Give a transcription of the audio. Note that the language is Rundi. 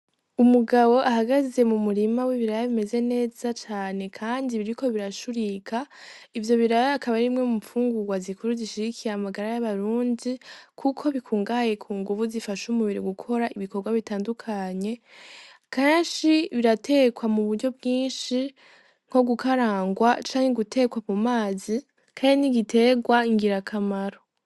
Umugabo ahagaze mu murima w'ibiraya bimeze neza cane, kandi biriko birashurika ivyo biraya akaba arimwe mu mpfungurwa zikuru zishirikiye amagara y'abarunzi, kuko bikungaye ku nguvu zifasha umubiri gukora ibikorwa bitandukanye kanshi biratekwa mu buryo bwinshi nko gukarangwa wa canke iguterwa ku mazi kare ni igiterwa ngira akamaro.